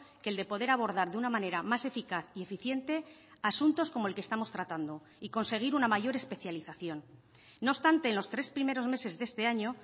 que el de poder abordar de una manera más eficaz y eficiente asuntos como el que estamos tratando y conseguir una mayor especialización no obstante en los tres primeros meses de este año